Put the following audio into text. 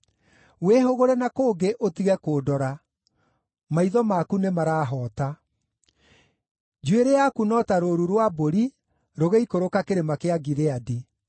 Wĩhũgũre na kũngĩ, ũtige kũndora; maitho maku nĩmarahoota. Njuĩrĩ yaku no ta rũũru rwa mbũri rũgĩikũrũka Kĩrĩma kĩa Gileadi.